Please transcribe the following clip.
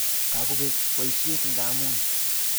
Kakobek boisiet, ngamuny.